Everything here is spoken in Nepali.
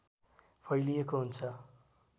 फैलिएको हुन्छ